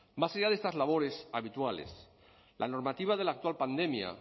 más allá de estas labores habituales la normativa de la actual pandemia